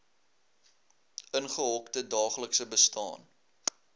ingehokte daaglikse bestaan